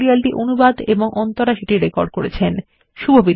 এই টিউটোরিয়াল এ অংশগ্রহন করার জন্য ধন্যবাদ